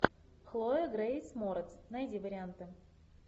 хлоя грейс морец найди варианты